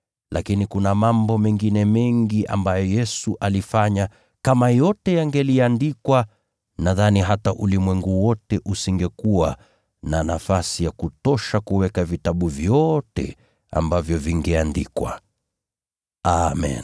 Lakini kuna mambo mengine mengi ambayo Yesu alifanya. Kama yote yangeliandikwa, nadhani hata ulimwengu wote usingekuwa na nafasi ya kutosha kuweka vitabu vyote ambavyo vingeandikwa. Amen.